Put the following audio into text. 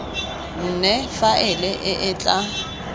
nne faele e e tla